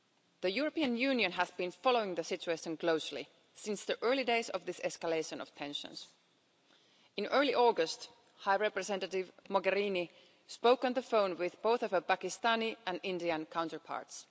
The European Union has been following the situation closely since the early days of this escalation of tensions. In early August, High Representative Mogherini spoke on the phone with both her Pakistani and Indian counterparts.